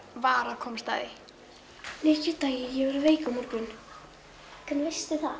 var að komast að því ég verð veik á morgun hvernig veistu það